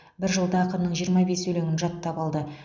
бір жылда ақынның жиырма бес өлеңін жаттап алды